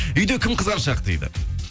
үйде кім қызғаншақ дейді